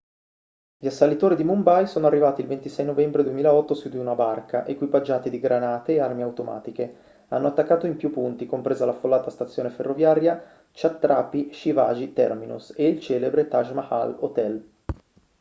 gli assalitori di mumbai sono arrivati il 26 novembre 2008 su di una barca equipaggiati di granate e armi automatiche hanno attaccato in più punti compresa l'affollata stazione ferroviaria chhatrapati shivaji terminus e il celebre taj mahal hotel